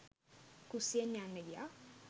කුස්සියෙන් යන්න ගියා.